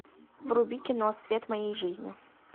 вруби кино свет моей жизни